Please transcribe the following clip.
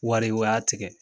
Wari u y'a tigɛ